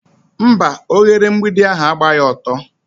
Mba, oghere mgbidi ahụ agbaghi ọtọ.